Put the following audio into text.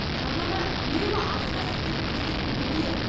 жарнама үнемі асыра сілтеп көрсететін дүние